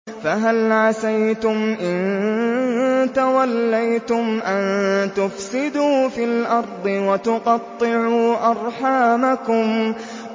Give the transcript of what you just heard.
فَهَلْ عَسَيْتُمْ إِن تَوَلَّيْتُمْ أَن تُفْسِدُوا فِي الْأَرْضِ وَتُقَطِّعُوا أَرْحَامَكُمْ